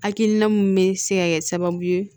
Hakilina min bɛ se ka kɛ sababu ye